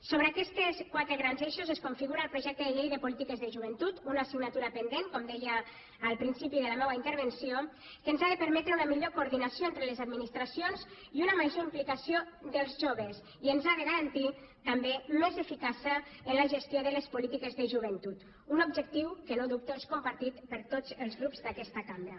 sobre aquests quatre grans eixos es configura el projecte de llei de polítiques de joventut una assignatura pendent com deia al principi de la meua intervenció que ens ha de permetre una millor coordinació entre les administracions i una major implicació dels joves i ens ha de garantir també més eficàcia en la gestió de les polítiques de joventut un objectiu que no dubto que és compartit per tots els grups d’aquesta cambra